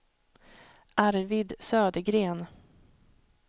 Arvid Södergren